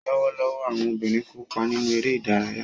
Lọwọlọwọ, awọn obinrin kopa ninu ere idaraya.